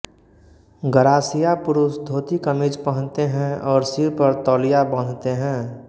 गरासिया पुरुष धोती कमीज पहनते हैं और सिर पर तौलिया बाँधते हैं